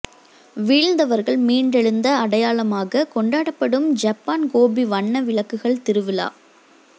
வீழ்ந்தவர்கள் மீண்டெழுந்த அடையாளமாக கொண்டாடப்படும் ஜப்பான் கோபி வண்ண விளக்குகள் திருவிழா